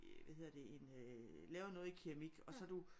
Hvad hedder det en øh laver noget i keramik og så du